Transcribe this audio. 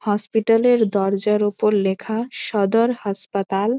Hospital এর দরজার ওপর লেখা সদর হাসপাতাল।